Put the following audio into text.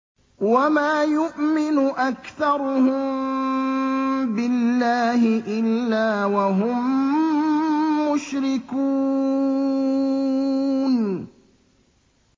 وَمَا يُؤْمِنُ أَكْثَرُهُم بِاللَّهِ إِلَّا وَهُم مُّشْرِكُونَ